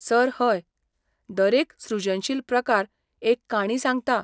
Sir, हय. दरेक सृजनशील प्रकार एक काणी सांगता.